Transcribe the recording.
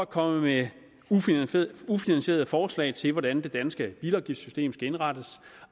kommer med ufinansierede forslag til hvordan det danske bilafgiftssystem skal indrettes